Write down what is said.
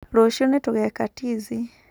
Rũciũ nĩtũgeka tizi